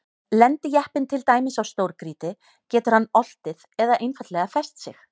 Lendi jeppinn til dæmis á stórgrýti getur hann oltið eða einfaldlega fest sig.